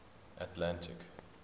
atlantic